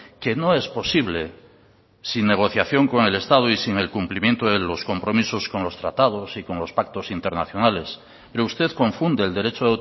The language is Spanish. que no es posible sin negociación con el estado y sin el cumplimiento de los compromisos con los tratados y con los pactos internacionales pero usted confunde el derecho